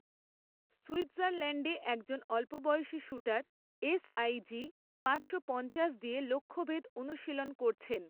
সুইৎজারল্যাণ্ডে একজন অল্পবয়সী shooter SIG পাঁচশো পঞ্চাশ দিয়ে লক্ষ্যভেদ অনুশীলন করছেন।